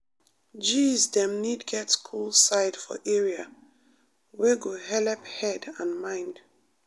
gees dem need get cool side for area wet go helep head and mind.